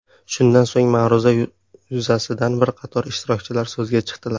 Shundan so‘ng ma’ruza yuzasidan bir qator ishtirokchilar so‘zga chiqdilar.